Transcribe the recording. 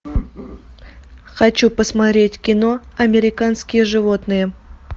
хочу посмотреть кино американские животные